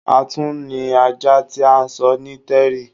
À tuń ni ajá ti à sọ́ ní terry